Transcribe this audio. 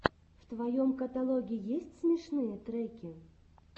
в твоем каталоге есть смешные треки